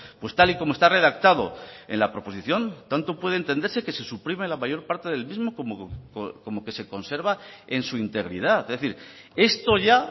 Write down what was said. pues tal y como está redactado en la proposición tanto puede entenderse que se suprime la mayor parte del mismo como que se conserva en su integridad es decir esto ya